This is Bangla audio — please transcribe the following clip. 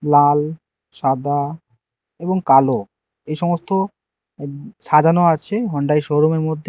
লাল সাদা এবং কালো এ সমস্ত উ সাজানো আছে হন্ডাই শোরুমের মধ্যে।